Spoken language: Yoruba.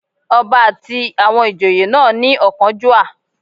Ọba àti àwọn ìjòyè náà ní ọ̀kánjúà